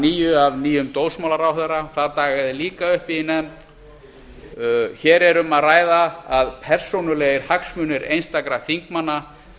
nýju af nýjum dómsmálaráðherra það dagaði líka uppi í nefnd hér er um það að ræða að persónulegir hagsmunir einstakra þingmanna